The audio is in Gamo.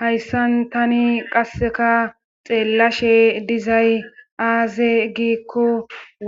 Hayssan tani qasseka xeellashe dizay aaze giikko